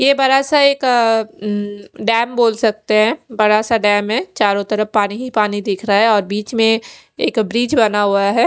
यह बड़ा सा एक अ डेम बोल सकते है बड़ा सा डेम है चारो तरफ पानी ही पानी दिख रहा है और बिच में एक ब्रिज बना हुआ है।